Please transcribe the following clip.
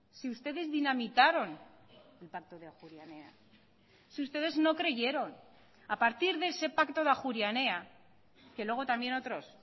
si ustedes dinamitaron el pacto de ajuria enea si ustedes no creyeron a partir de ese pacto de ajuria enea que luego también otros